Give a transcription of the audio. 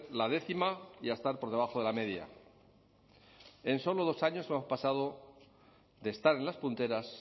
la décima y a estar por debajo de la media en solo dos años hemos pasado de estar en las punteras